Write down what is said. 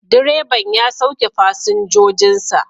Direban ya sauke fasinjojin sa